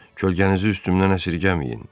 Kölgənizi üstümdən əsirgəməyin.